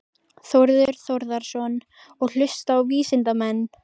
Þórður Þórðarson: Og hlusta á vísindamenn?